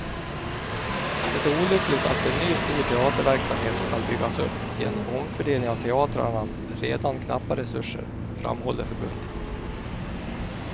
Det är olyckligt att en ny stor teaterverksamhet skall byggas upp genom omfördelning av teatrarnas redan knappa resurser, framhåller förbundet.